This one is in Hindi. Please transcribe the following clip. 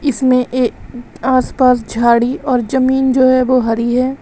इसमें ये आस पास झाड़ी और जमीन जो है वो हरी है।